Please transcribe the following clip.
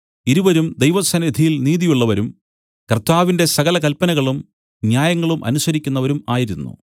ഇരുവരും ദൈവസന്നിധിയിൽ നീതിയുള്ളവരും കർത്താവിന്റെ സകല കല്പനകളും ന്യായങ്ങളും അനുസരിക്കുന്നവരും ആയിരുന്നു